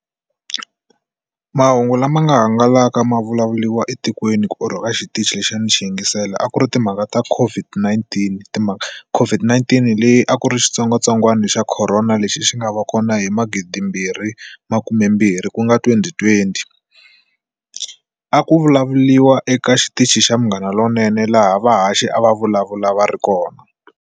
Mahungu lama nga hangalaka ma vulavuliwa etikweni ku or ka a xitichi lexi a ni xi yingisela a ku ri timhaka ta COVID-19 timhaka COVID-19 leyi a ku ri xitsongwatsongwana xa corona lexi xi nga va kona hi magidimbirhi makumembirhi ku nga twenty-twenty a ku vulavuriwa eka xitichi xa Munghana Lonene laha vahaxi a va vulavula va ri kona.